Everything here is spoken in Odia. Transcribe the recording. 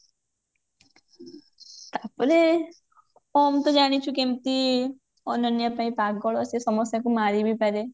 ତାପରେ ଓମ ତ ଜାଣିଛୁ କେମତି ଅନନ୍ୟା ପାଇଁ ପାଗଳ ସେ ସମସ୍ତଙ୍କୁ ମାରି ବି ପାରେ